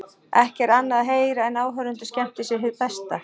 Ekki er annað að heyra en áhorfendur skemmti sér hið besta.